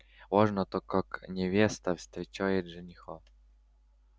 важно то как невеста встречает жениха